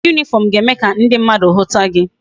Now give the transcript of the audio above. Uwe uniform ga eme ka ndi mmadu huta gi